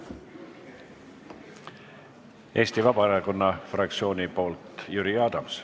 Eesti Vabaerakonna fraktsiooni nimel Jüri Adams.